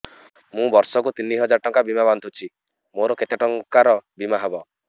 ମୁ ବର୍ଷ କୁ ତିନି ହଜାର ଟଙ୍କା ବୀମା ବାନ୍ଧୁଛି ମୋର କେତେ ଟଙ୍କାର ବୀମା ହବ